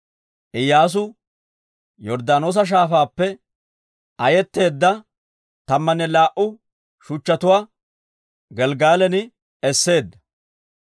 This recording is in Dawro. Iyyaasu Yorddaanoosa Shaafaappe ayetteedda tammanne laa"u shuchchatuwaa Gelggalan esseedda.